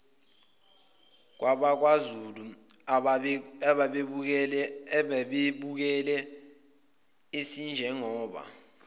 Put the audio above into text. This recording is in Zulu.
kwabakwazulu ababebukele asinjengoba